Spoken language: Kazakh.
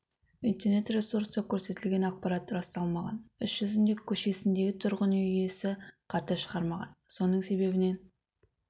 интернет-ресурста көрсетілген ақпарат расталмаған іс жүзінде көшесіндегі тұрғын үйдің иесі қарды шығармаған соның себебінен